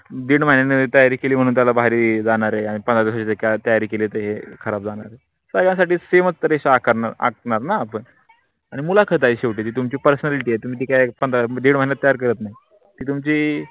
दीड महिन्याची तयारी केली म्हणून त्याला भारी जाणार आहे, पंधरा दिवसाची तयारी केली. ते खराब जाणार आहे सगळ्या साठी सेमच रेषा आखणार आपण मुलाखत आहे. सेवटी तुम्ह्ची personality आहे तुमची काय पंधरा दीड महिन्यात तयार करत नाही. ती तुम्ह्ची